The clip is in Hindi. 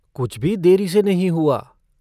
कुछ भी देरी से नहीं हुआ।